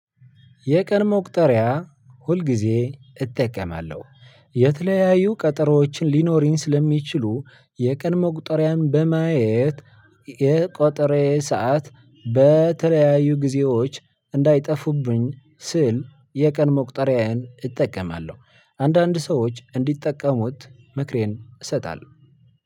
የቀን መቁጠሪያ ሁልጊዜ እጠቀማለሁ። የተለያዩ ቀጠሮዎችን ሊኖሪን ስለሚችሉ የቀን መቁጠሪያን በማየት የቀጠሮየ ሰዓት በተለያዩ ጊዜዎች እንዳይጠፉብኝ ስል የቀን መቁጠሪያየን እጠቀማለሁ። አንዳንድ ሰዎች እንዲጠቀሙት ምክሬን እሰጣለሁ።